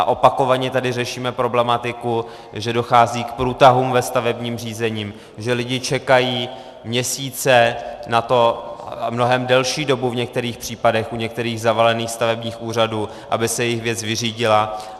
A opakovaně tady řešíme problematiku, že dochází k průtahům ve stavebním řízení, že lidi čekají měsíce na to, mnohem delší dobu v některých případech, u některých zavalených stavebních úřadů, aby se jejich věc vyřídila.